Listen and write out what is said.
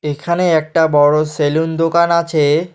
এখানে একটা বড় সেলুন দোকান আছে।